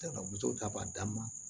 ta b'a d'a ma